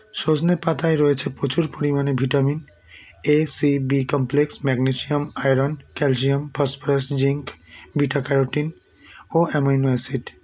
সজনে পাতায় রয়েছে প্রচুর পরিমাণে vitamin a c b complex magnesium iron calcium phosphorus zinc beta carotene ও amino acid